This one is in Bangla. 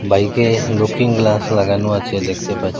বাইকে লুকিং গ্লাস লাগানো আছে দেখতে পাছ--